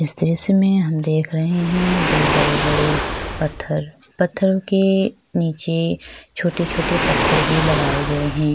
इस दृश्य में हम देख रहे है दो बड़े - बड़े पत्थर पत्थरों के निचे छोटे - छोटे पत्थर भी लगाए गए है।